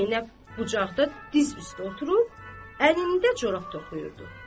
Zeynəb bucaqda diz üstü oturub, əlində corab toxuyurdu.